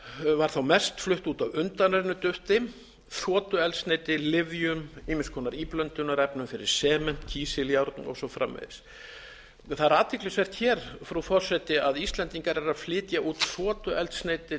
var þó mest flutt út af undanrennudufti þotueldsneyti lyfjum ýmiss konar íblöndunarefnum fyrir sement kísiljárn og svo framvegis það er athyglisvert hér frú forseti að íslendingar eru að flytja út þotueldsneyti